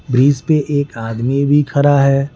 Bridge पे एक आदमी भी खरा है।